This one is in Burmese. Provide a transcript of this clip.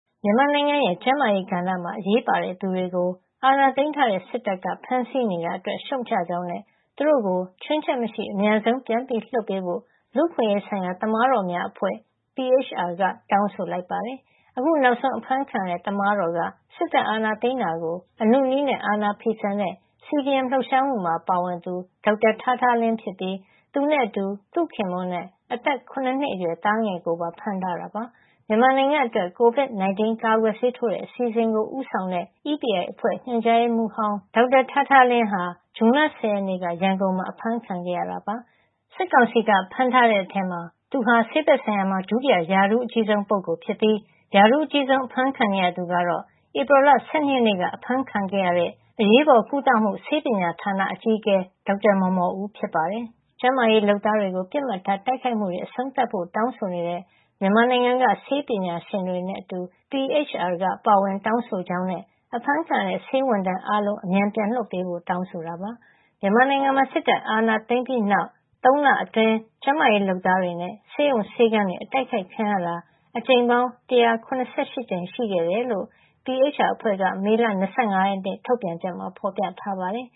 မြန်မာနိုင်ငံရဲ့ ကျန်းမာရေးကဏ္ဍမှာ အရေးပါတဲ့သူတွေကို အာဏာသိမ်းထားတဲ့ စစ်တပ်က ဖမ်းဆီးနေတာအတွက် ရှုတ်ချကြောင်းနဲ့ သူတို့ကို ချွင်းချက်မရှိ အမြန်ဆုံး ပြန်လွှတ်ပေးဖို့ လူ့အခွင့်ရေးဆိုင်ရာ သမားတော်များအဖွဲ့ (PHR) က တောင်းဆိုလိုက်ပါတယ်။ အခုနောက်ဆုံး အဖမ်းခံရတဲ့ သမားတော်က စစ်တပ်အာဏာသိမ်းတာကို အနုနည်းနဲ့ အာဏာဖီဆန်တဲ့ CDM လှုပ်ရှားမှုမှာ ပါဝင်သူ ဒေါက်တာထားထားလင်းဖြစ်ပြီး သူနဲ့အတူ သူ့ခင်ပွန်းနဲ့ အသက် ၇ နှစ်အရွယ် သားငယ်ကိုပါ ဖမ်းထားတာပါ။ မြန်မာနိုင်ငံအတွက် COVID-19 ကာကွယ်ဆေးထိုးတဲ့ အစီအစဉ်ကို ဦးဆောင်တဲ့ EPI အဖွဲ့ ညွှန်ကြားရေးမှူးဟောင်း ဒေါက်တာထားထားလင်းဟာ ဇွန်လ ၁၀ ရက်နေ့က ရန်ကုန်မှာ အဖမ်းခံခဲ့ရတာပါ။ စစ်ကောင်စီက ဖမ်းထားတဲ့ထဲမှာ သူဟာ ဆေးဘက်ဆိုင်ရာမှာ ဒုတိယ ရာထူးအကြီးဆုံးပုဂ္ဂိုလ်ဖြစ်ပြီး ရာထူးအကြီးဆုံး အဖမ်းခံနေရသူကတော့ ဧပြီလ ၁၂ ရက်နေ့က အဖမ်းခံရတဲ့ အရေးပေါ်ကုသမှု ဆေးပညာဌာန အကြီးအကဲ ဒေါက်တာမော်မော်ဦး ဖြစ်ပါတယ်။ ကျန်းမာရေးလုပ်သားတွေကို ပစ်မှတ်ထား တိုက်ခိုက်မှုတွေ အဆုံးသတ်ဖို့ တောင်းဆိုနေတဲ့ မြန်မာနိုင်ငံက ဆေးပညာရှင်တွေနဲ့အတူ PHR ကပါ ပါဝင်တောင်းဆိုကြောင်းနဲ့ အဖမ်းခံနေရတဲ့ ဆေးဝန်ထမ်းတွေ အားလုံးကို အမြန်ပြန်လွှတ်ပေးဖို့ပါ တောင်းဆိုခဲ့တာပါ။ မြန်မာနိုင်ငံမှာ စစ်တပ်အာဏာသိမ်းပြီးတဲ့နောက် ၃ လအတွင်း ကျန်းမာရေး လုပ်သားတွေနဲ့ ဆေးရုံဆေးခန်းတွေ အတိုက်ခိုက်ခံရတာ အကြိမ်ပေါင်း ၁၇၈ ကြိမ်ရှိခဲ့တယ်လို့ PHR အဖွဲ့က မေလ ၂၅ ရက်နေ့ ထုတ်ပြန်ချက်မှာ ဖော်ပြထားပါတယ်